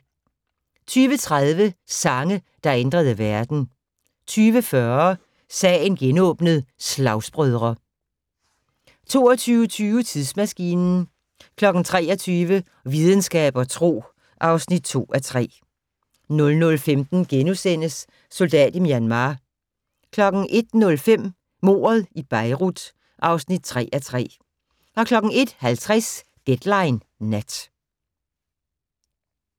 20:30: Sange, der ændrede verden 20:40: Sagen genåbnet: Slagsbrødre 22:20: Tidsmaskinen 23:00: Videnskab og tro (2:3) 00:15: Soldat i Myanmar * 01:05: Mordet i Beirut (3:3) 01:50: Deadline Nat